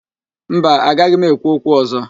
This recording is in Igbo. Mba, agaghị m ekwu okwu ọ̀zọ́.